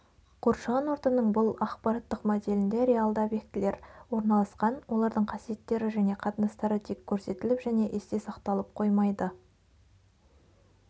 қоршаған ортаның бұл ақпараттық моделінде реалды объектілер орналасқан олардың қасиеттері және қатынастары тек көрсетіліп және есте сақталып қоймайды